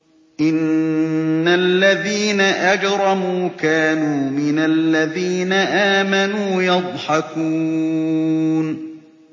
إِنَّ الَّذِينَ أَجْرَمُوا كَانُوا مِنَ الَّذِينَ آمَنُوا يَضْحَكُونَ